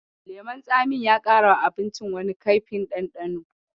Lemon tsamin ya ƙarawa abincin wani kaifin ɗanɗano.